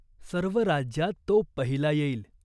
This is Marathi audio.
सर्व राज्यात तो पहिला येईल.